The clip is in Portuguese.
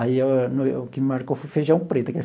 Aí o que marcou foi o feijão preto.